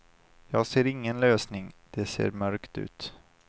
Jag ser ingen lösning, det ser mörkt ut.